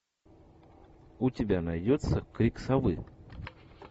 у тебя найдется крик совы